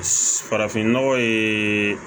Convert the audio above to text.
Farafinnɔgɔ ye